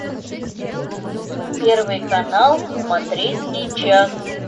первый канал смотреть сейчас